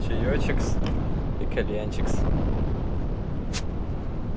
чаечек-с и кальянчик-с